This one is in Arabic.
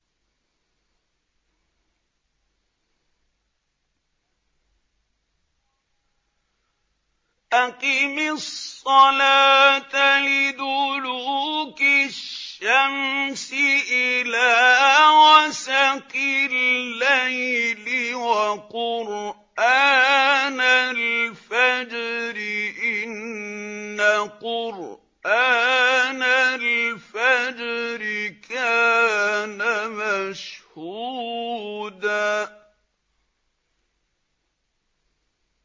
أَقِمِ الصَّلَاةَ لِدُلُوكِ الشَّمْسِ إِلَىٰ غَسَقِ اللَّيْلِ وَقُرْآنَ الْفَجْرِ ۖ إِنَّ قُرْآنَ الْفَجْرِ كَانَ مَشْهُودًا